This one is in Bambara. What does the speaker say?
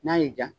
N'a y'i diya